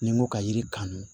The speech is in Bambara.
Ni n ko ka yiri kanu